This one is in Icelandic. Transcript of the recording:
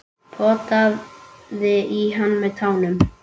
Potaði í hann með tánum.